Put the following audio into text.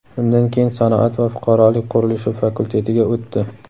undan keyin sanoat va fuqarolik qurilishi fakultetiga o‘tdi.